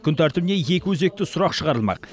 күн тәртібіне екі өзекті сұрақ шығарылмақ